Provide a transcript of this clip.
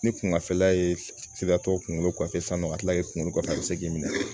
Ni kungafɛla ye sira tɔ kunkolo kɔfɛ sann'a ka kila kunkolo kɔfɛ a bɛ se k'i minɛ